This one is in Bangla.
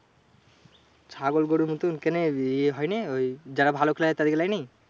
ছাগল গরুর মতো কেনে? এ হয়নে ওই যারা ভালো player তাদেকে লেয়নি।